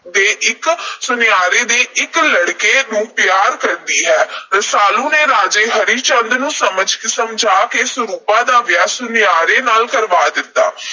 ਦੇ ਇਕ ਅਹ ਸੁਨਿਆਰੇ ਦੇ ਇਕ ਲੜਕੇ ਨੂੰ ਪਿਆਰ ਕਰਦੀ ਹੈ। ਰਸਾਲੂ ਨੇ ਰਾਜੇ ਹਰੀ ਚੰਦ ਨੂੰ ਸਮਝ ਅਹ ਸਮਝਾ ਕੇ ਸਰੂਪਾਂ ਦਾ ਵਿਆਹ ਸੁਨਿਆਰੇ ਨਾਲ ਕਰਵਾ ਦਿੱਤਾ।